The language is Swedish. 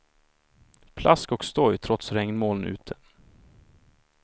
Plask och stoj trots regnmoln ute.